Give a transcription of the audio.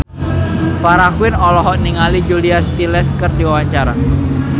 Farah Quinn olohok ningali Julia Stiles keur diwawancara